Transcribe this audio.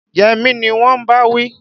Yẹmí ni wọn ń bá wí.